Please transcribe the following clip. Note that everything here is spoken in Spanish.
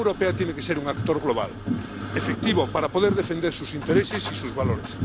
La Unión Europea tiene que ser un actor global, efectivo, para poder defender sus intereses y sus valores.